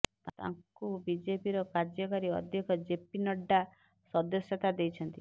ତାଙ୍କୁ ବିଜେପିର କାର୍ଯ୍ୟକାରୀ ଅଧ୍ୟକ୍ଷ ଜେପି ନଡ୍ଡା ସଦସ୍ୟତା ଦେଇଛନ୍ତି